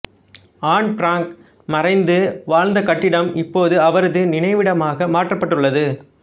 on Frank மறைந்து வாழ்ந்த கட்டிடம் இப்போது அவரது நினைவிடமாக மாற்றப்பட்டுள்ளது